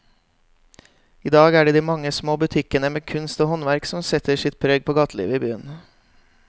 I dag er det de mange små butikkene med kunst og håndverk som setter sitt preg på gatelivet i byen.